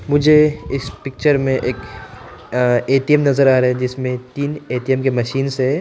मुझे इस पिक्चर में एक ए_टी_एम नजर आ रहा है जिसमें तीन ए_टी_एम के मशीन्स है।